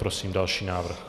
Prosím další návrh.